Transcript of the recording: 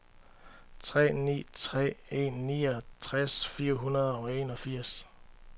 tre ni tre en niogtres fire hundrede og enogfirs